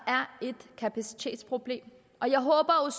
et kapacitetsproblem og jeg håber